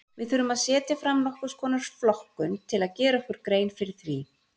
Við þurfum að setja fram nokkurs konar flokkun til að gera okkur grein fyrir því.